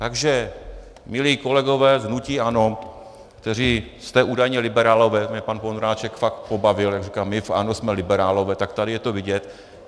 Takže milí kolegové v hnutí ANO, kteří jste údajně liberálové, mě pan Vondráček fakt pobavil, jak říká, my v ANO jsme liberálové, tak tady je to vidět.